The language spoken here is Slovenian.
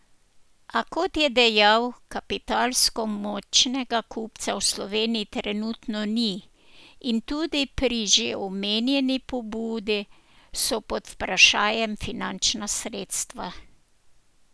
A, kot je dejal, kapitalsko močnega kupca v Sloveniji trenutno ni in tudi pri že omenjeni pobudi so pod vprašajem finančna sredstva.